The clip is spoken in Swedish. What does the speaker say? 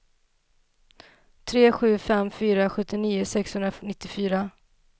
tre sju fem fyra sjuttionio sexhundranittiofyra